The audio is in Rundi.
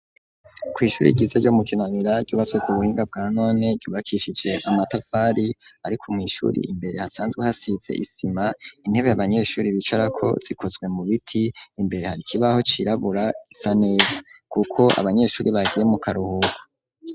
Kw'ishuri ryiza yo mu kinanira cubasuku buhinga bwa none ryubakishise amatafari ariko mw'ishuri imbere hasanzwe hasize isima intebe y'abanyeshuri bicarako zikozwe mu biti imbere hari kibaho cirabura is n'ivu kuko abanyeshuri bagiye mu karuhuko.